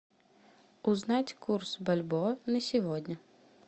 узнать курс бальбоа на сегодня